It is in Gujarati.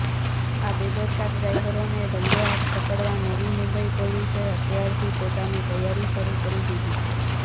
આ બેદરકાર ડ્રાઇવરોને રંગેહાથ પકડવા નવી મુંબઇ પોલીસે અત્યારથી પોતાની તૈયારી શરૂ કરી દીધી છે